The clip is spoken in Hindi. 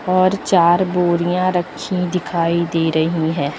और चार बोरियां रखी दिखाई दे रही हैं।